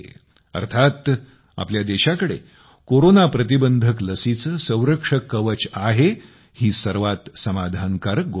अर्थात आपल्या देशाकडे कोरोनाप्रतिबंधक लसीचे संरक्षक कवच आहे ही सर्वात समाधानकारक गोष्ट आहे